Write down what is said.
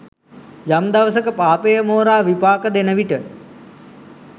යම් දවසක පාපය මෝරා විපාක දෙන විට